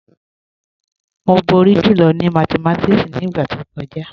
Mo bọ̀rí jùlọ̀ ni mátìmátíkì ni igba tó kọja.